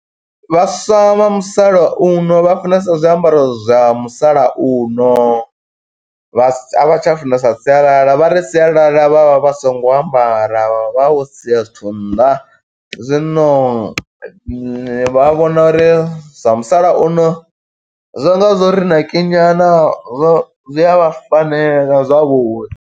Vhaswa vha musalauno vha funesa zwiambaro zwa musalauno, vha sa a vha tsha funesa sialala. Vha ri sialala vha vha vha songo ambara, vha vha vho siya zwithu nnḓa. Zwino vha vhona uri sa musalauno, zwi nga zwo ri naki nyana, zwo zwi a vha fanela zwavhuḓi.